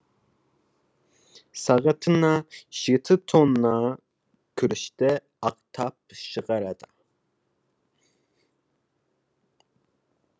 сағатына жеті тонна күрішті ақтап шығарады